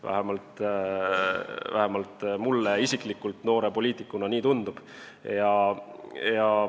Vähemalt mulle isiklikult noore poliitikuna nii tundub.